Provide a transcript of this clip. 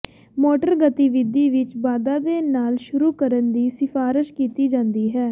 motor ਗਤੀਵਿਧੀ ਵਿੱਚ ਵਾਧਾ ਦੇ ਨਾਲ ਸ਼ੁਰੂ ਕਰਨ ਦੀ ਸਿਫਾਰਸ਼ ਕੀਤੀ ਜਾਂਦੀ ਹੈ